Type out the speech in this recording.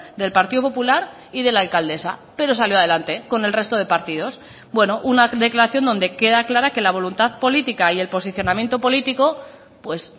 del partido popular y de la alcaldesa pero salió adelante con el resto de partidos bueno una declaración donde queda clara que la voluntad política y el posicionamiento político pues